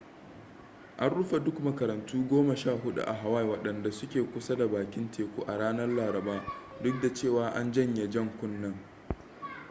an rufe duk makarantu goma sha hudu a huawaii wadanda suke kusa da bakin teku a ranar laraba duk da cewa an janye jan kunnen